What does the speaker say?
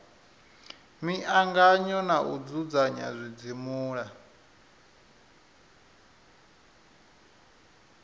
miangano na u dzudzanya zwidzimula